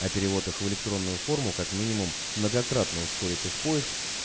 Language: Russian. а перевод их в электронную форму как минимум многократно ускорит их поиск